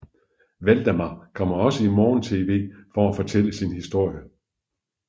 Waldemar kommer også i morgentv for at fortælle sin historie